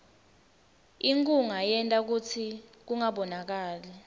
inkhunga yenta kutsi kungabonakali